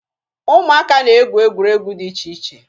Ụmụaka na-egwu egwuregwu dị iche iche